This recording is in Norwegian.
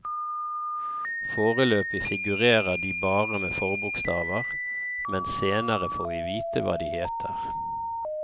Foreløbig figurere de bare med forbokstaver, men senere får vi vite hva de heter.